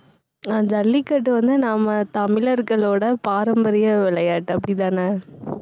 அஹ் ஜல்லிக்கட்டு வந்து, நம்ம தமிழர்களோட பாரம்பரிய விளையாட்டு அப்படித்தானே